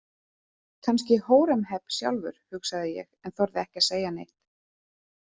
Kannski Hóremheb sjálfur, hugsaði ég en þorði ekki að segja neitt.